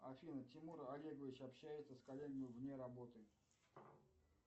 афина тимур олегович общается с коллегами вне работы